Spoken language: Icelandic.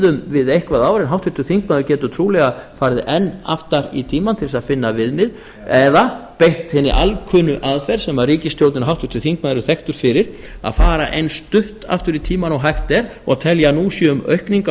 við eitthvert ár en háttvirtur þingmaður getur trúlega farið enn aftar í tímann til þess að finna viðmið eða beitt hinni alkunnu aðferð sem ríkisstjórnin og háttvirtur þingmaður eru þekkt fyrir að fara eins stutt aftur í tímann og hægt er og telja að nú sé um aukningu að